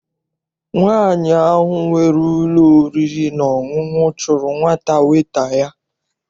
Nwaanyi ahụ nwere ụlọ oriri na ọṅụṅụ chụrụ nwa weta ya.